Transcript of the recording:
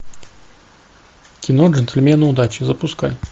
кино джентльмены удачи запускай